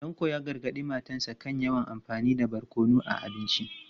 Tanko ya gargadi matarsa ​​kan yawan amfani da barkono a abinci.